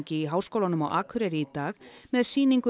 í Háskólanum á Akureyri í dag með sýningu